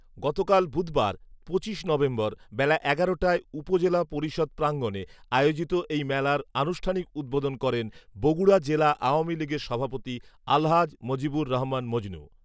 গতকাল বুধবার পঁচিশ নভেম্বর বেলা এগারো টায় উপজেলা পরিষদ প্রাঙণে আয়োজিত এই মেলার আনুষ্ঠানিক উদ্বোধন করেন বগুড়া জেলা আওয়ামীলীগের সভাপতি আলহাজ মজিবর রহমান মজনু